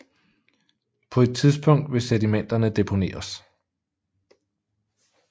På et tidspunkt vil sedimenterne deponeres